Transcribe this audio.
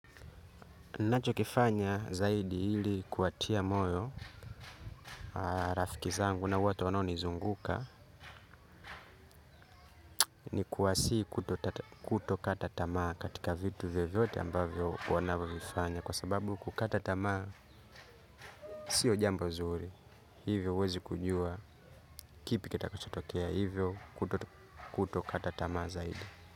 Nacho kifanya zaidi hili kuwatia moyo rafiki zangu na watu wanao nizunguka ni kuwasii kuto kata tamaa katika vitu vyovyote ambavyo wanavyo vifanya kwa sababu kukata tamaa siyo jambo zuri hivyo huwezi kujua kipi kita kachotokea hivyo kuto kata tamaa zaidi.